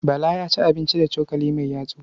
Bala ya ci abinci da cokali mai yatsu.